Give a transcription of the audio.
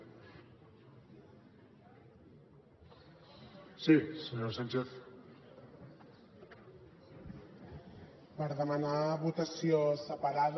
per demanar votació separada